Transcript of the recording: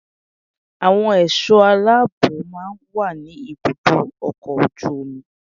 Àwọn ẹ̀ṣọ́ aláàbò máa ń wà ní ibùdó ọkọ̀ ojú omi